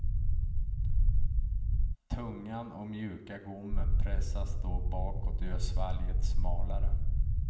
Tungan och mjuka gommen pressas då bakåt och gör svalget smalare.